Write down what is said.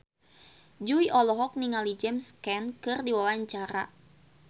Jui olohok ningali James Caan keur diwawancara